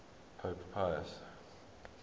pope pius